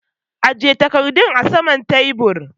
Aje takardun a saman tebur!